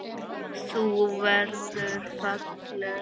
Þú verður falleg.